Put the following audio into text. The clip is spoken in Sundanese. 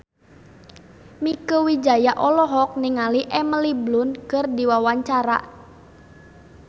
Mieke Wijaya olohok ningali Emily Blunt keur diwawancara